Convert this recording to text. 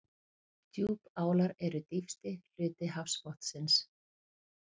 Djúpálar eru dýpsti hluti hafsbotnsins.